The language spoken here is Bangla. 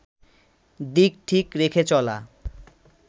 দিক ঠিক রেখে চলা